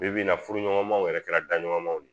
Bi bi in na furuɲɔgɔnmaw yɛrɛ kɛra daɲɔgɔnmaw de ye